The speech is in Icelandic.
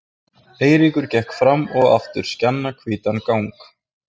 Eiríkur gekk fram og aftur skjannahvítan gang.